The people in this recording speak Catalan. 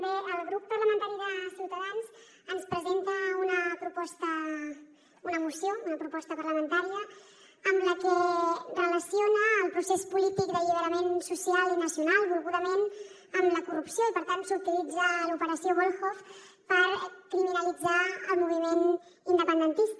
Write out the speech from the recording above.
bé el grup parlamentari de ciutadans ens presenta una moció una proposta parlamentària amb la que relaciona el procés polític d’alliberament social i nacional volgudament amb la corrupció i per tant s’utilitza l’operació volhov per criminalitzar el moviment independentista